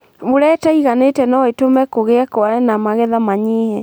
Mbura ĩtaiganĩte nũĩtũme kũgie kware na magetha manyihe.